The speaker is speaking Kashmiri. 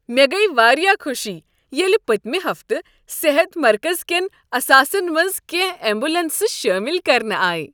مےٚ گٔیۍ واریاہ خوشی ییٚلہ پٔتمہ ہفتہٕ صحت مرکز کیٚن اثاثن منٛز کیٚنٛہہ ایمبولینسہٕ شٲمل کرنہٕ آیہ۔